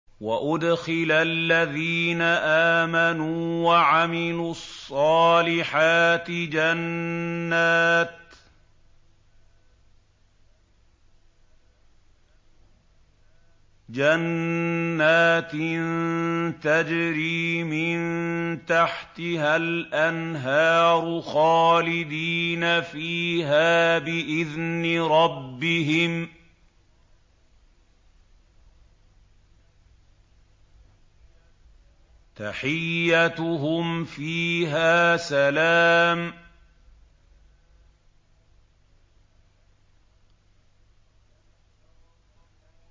وَأُدْخِلَ الَّذِينَ آمَنُوا وَعَمِلُوا الصَّالِحَاتِ جَنَّاتٍ تَجْرِي مِن تَحْتِهَا الْأَنْهَارُ خَالِدِينَ فِيهَا بِإِذْنِ رَبِّهِمْ ۖ تَحِيَّتُهُمْ فِيهَا سَلَامٌ